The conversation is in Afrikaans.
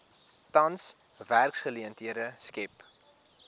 tans werksgeleenthede skep